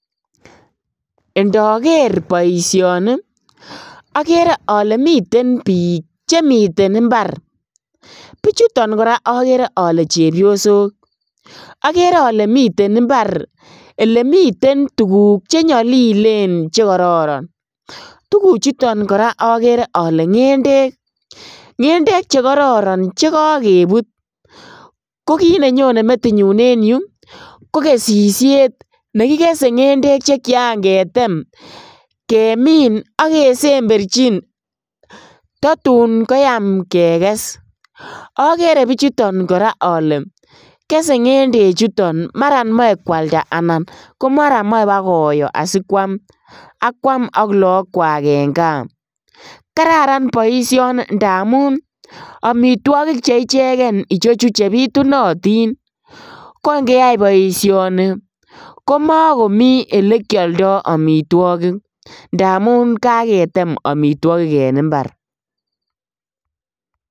Indoker boisioni okere ole miten bik chemiten imbar, bichuton koraa okere ole chebiosok okere ole miten imbar elemiten tuguk chenyolilen chekororon, tuguchuton koraa okere ole ngendek chekororon che kokebut kokit nenyonen metinyun en yu kokesishet nekikese ngendek chekian ketem kemin ak kesemberchin totun koyaam kekes okere bichuton ole kesee ngendechuton maran moe kwalda anan komara moe bakoyo asikwam ak kwam ak lookwak en kaa , kararan boisioni ndamun omitwogik cheicheken ichechu chebitunotin, ko ingeyai boisioni komokomi elekioldo omitwogik ndamun kaketem omitwogik en imbar .